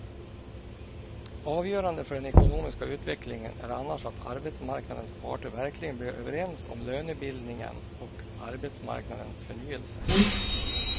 Avgörande för den ekonomiska utvecklingen är annars att arbetsmarknadens parter verkligen blir överens om lönebildningen och arbetsmarknadens förnyelse.